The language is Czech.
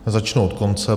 Začnu od konce.